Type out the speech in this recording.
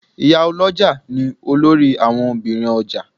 Ìyálọ́jà ni olórí àwon Obìnrin ọjà